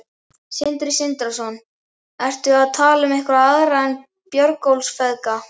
Sindri Sindrason: Ertu að tala um einhverja aðra en Björgólfsfeðga?